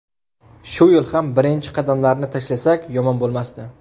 Shu yil ham birinchi qadamlarni tashlasak yomon bo‘lmasdi.